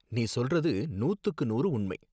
நீ சொல்றது நூத்துக்கு நூறு உண்மை